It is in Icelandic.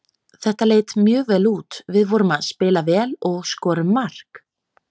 Þetta leit mjög vel út, við vorum að spila vel og skorum mark.